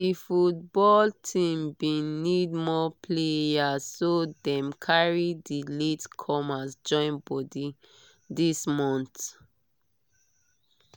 di football team bin need more players so dem carry di late comers join body this month